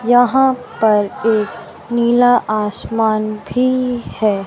यहां पर एक नीला आसमान भी है।